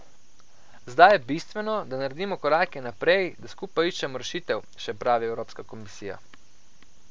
Zdaj je bistveno, da naredimo korake naprej, da skupaj iščemo rešitev, še pravi Evropska komisija.